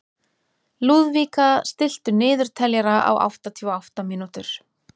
Lúðvíka, stilltu niðurteljara á áttatíu og átta mínútur.